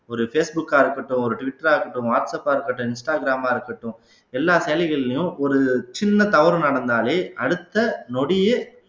ஒரு ஃபேஸ் புக்கா இருக்கட்டும் ஒரு ட்விட்டரா இருக்கட்டும் வாட்ஸ் அப் ஆ இருக்கட்டும் இன்ஸ்டாகிராம்மா இருக்கட்டும் எல்லா செயலிகள்லையும் ஒரு சின்ன தவறு நடந்தாலே அடுத்த நொடியே